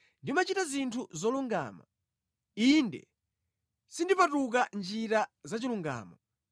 Ndimachita zinthu zolungama. Ine sindipatuka mʼnjira za chilungamo.